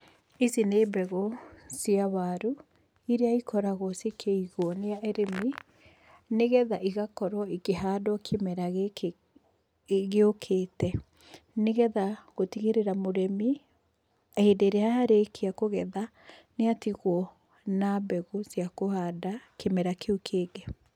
Ici nĩ mbegũ cia waru, irĩa ikoragwo cikĩigwo nĩ arĩmi nĩgetha igakorwo ikĩhandwo kimera gĩkĩ gĩũkĩte. Nĩgetha gũtigĩrĩra mũrĩmi hĩndĩ ĩrĩa arĩkia kũgetha nĩatigwo na mbegũ cia kũhanda kĩmera kĩũ kĩngĩ.